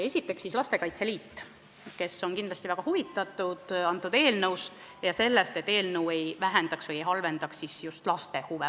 Esiteks Lastekaitse Liit, kes on kindlasti väga huvitatud eelnõust ja sellest, et see ei kahjustaks laste huve.